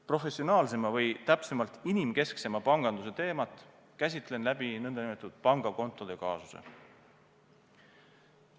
Professionaalsema või täpsemalt inimkesksema panganduse teemat käsitlen läbi nn pangakontode kaasuse.